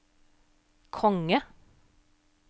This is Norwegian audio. konge